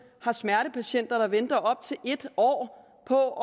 har smertepatienter der venter op til en år på